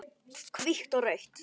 Hvítt og rautt.